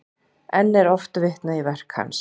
Enn er oft vitnað í verk hans.